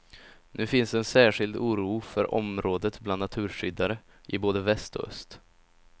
Nu finns en särskild oro för området bland naturskyddare i både väst och öst.